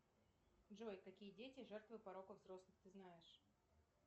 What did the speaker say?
джой какие дети жертвы пороков взрослых ты знаешь